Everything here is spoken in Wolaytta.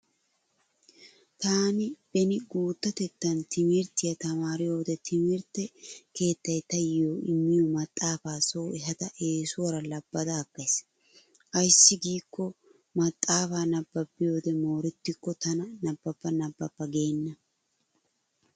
Taani beni guuttatettan timirttiya tamaariyode timirtte keettay taayyo immiyo maxaafaa so ehada eesuwara labbada aggays. Ayssi giikko maxaafaa nabbabiyode moorettikko tana nabbaba nabbaba geenna.